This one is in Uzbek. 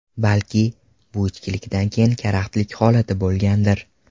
Balki, bu ichkilikdan keyingi karaxtlik holati bo‘lgandir.